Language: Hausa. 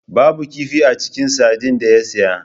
Babu kifi a cikin sardine da ya saya.